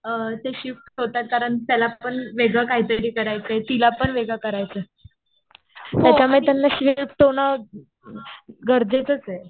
ते शिफ्ट होतात. कारण त्याला पण वेगळं काहीतरी करायचंय. तिला पण वेगळं करायचंय. त्याच्यामुळे त्यांना शिफ्ट होणं गरजेचंच आहे.